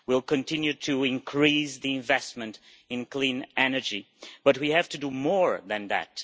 We will continue to increase the investment in clean energy, but we have to do more than that.